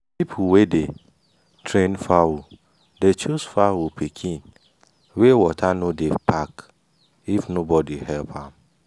people wey dey train fowl dey choose fowl pikin wey water no dey pack if nobody help am.